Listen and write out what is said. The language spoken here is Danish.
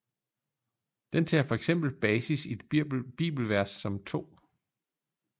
Den tager fx basis i et bibelvers som 2